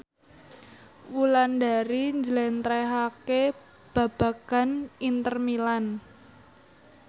Wulandari njlentrehake babagan Inter Milan